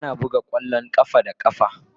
Ana buga kwallon kafa da kafa.